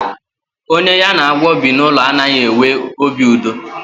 Onye ya na agwọ bi n'ụlọ a naghị enwe obi udo.